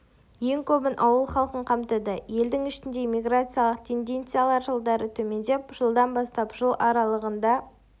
ең көбін ауыл халқын қамтыды елдің ішіндегі миграциялық тенденциялар жылдары төмендеп жылдан бастап жыл аралығында